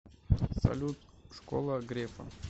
салют школа грефа